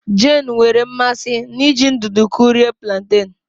Jane nwere mmasị n'iji ndụdụ kụrie plantain